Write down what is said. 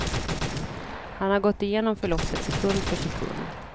Han har gått igenom förloppet sekund för sekund.